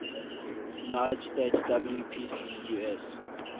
united states wpcus